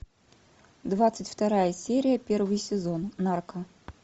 двадцать вторая серия первый сезон нарко